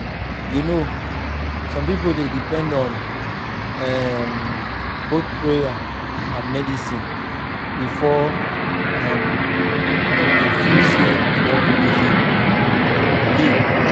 you know some people dey depend on um both prayer and medicine before um dem feel say dem don really heal. heal.